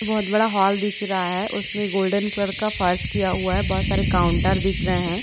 बहोत बड़ा हॉल दिख रहा है उसमे गोल्डन कलर का फर्स किया हुआ है बहोत सारे काउंटर दिख रहे है।